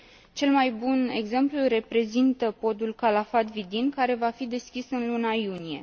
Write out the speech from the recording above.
Cel mai bun exemplu îl reprezintă podul Calafat Vidin, care va fi deschis în luna iunie.